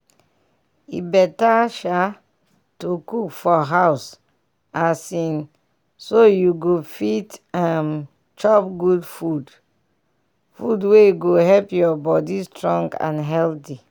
e better um to cook for house um so you go fit um chop good food food wey go help your body strong and healthy.